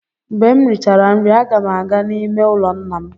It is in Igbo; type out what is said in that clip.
Mgbe m richara nri, aga m aga n'ime ụlọ nna m.